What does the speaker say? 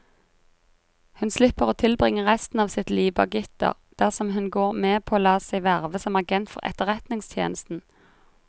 Hun slipper å tilbringe resten av sitt liv bak gitter dersom hun går med på å la seg verve som agent for etterretningstjenesten.